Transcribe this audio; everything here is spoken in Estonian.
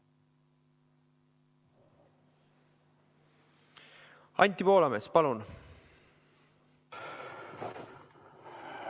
Anti Poolamets, palun!